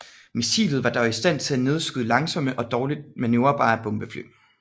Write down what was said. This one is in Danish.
Missilet var dog i stand til at nedskyde langsomme og dårligt manøvrerbare bombefly